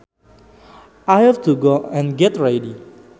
I have to go and get ready